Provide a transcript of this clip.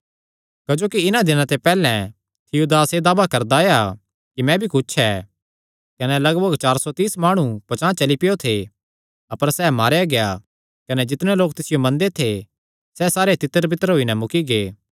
क्जोकि इन्हां दिनां दे पैहल्ले थियूदास एह़ दावा करदा आया कि मैं भी कुच्छ ऐ कने लगभग कोई चार सौ तिस माणुये पचांह़ चली पैयो थे अपर सैह़ मारेया गेआ कने जितणे लोक तिसियो मनदे थे सैह़ सारे तितरबितर होई नैं मुक्की गै